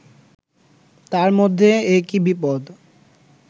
তার মধ্যে একি বিপদ